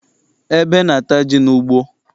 Ebe na-ata ji n'ugbo.